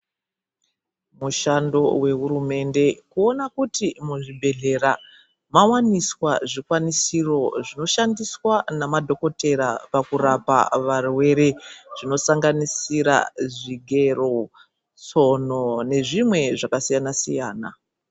Mushando we hurumende kuona kuti mu zvibhedhlera ma waniswa zvi kwanisiro zvino shandiswa na madhokotera paku rapa varwere zvino sanganisira zvigero tsono ne zvimwe zvaka siyana siyana.